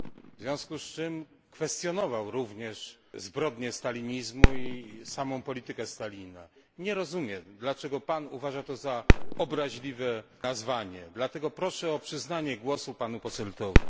W związku z czym kwestionował również zbrodnie stalinizmu i samą politykę Stalina. Nie rozumiem, dlaczego uważa Pan to za obraźliwe określenie. Dlatego proszę o przyznanie głosu panu Posseltowi.